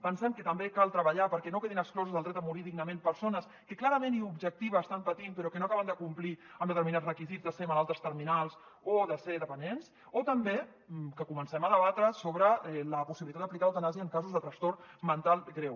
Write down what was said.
pensem que també cal treballar perquè no quedin exclosos del dret a morir dignament persones que clarament i objectiva estan patint però que no acaben de complir amb determinats requisits de ser malaltes terminals o de ser dependents o també que comencem a debatre sobre la possibilitat d’aplicar l’eutanàsia en casos de trastorn mental greu